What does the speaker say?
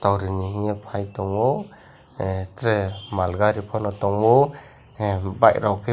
tor rihing ye pai tongo tere mal gari pono tongo bike rok kebo.